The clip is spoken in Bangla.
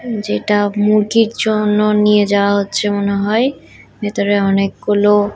যেটা মুরগির জন্য নিয়ে যাওয়া হচ্ছে মনে হয় ভেতরে অনেকগুলো--